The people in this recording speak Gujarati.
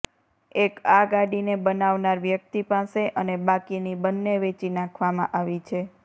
એક આ ગાડીને બનાવનાર વ્યક્તિ પાસે અને બાકીની બંને વેચી નાખવામાં આવી છે